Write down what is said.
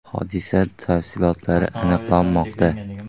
Hodisa tafsilotlari aniqlanmoqda.